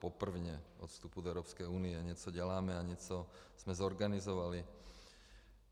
Poprvé od vstupu do Evropské unie něco děláme a něco jsme zorganizovali.